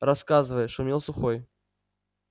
рассказывай шумел сухой